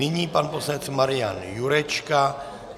Nyní pan poslanec Marian Jurečka -